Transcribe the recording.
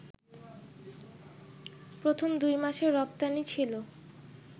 প্রথম দুই মাসে রপ্তানি ছিল